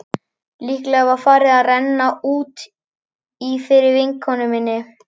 Líklega var farið að renna út í fyrir vinkonu minni.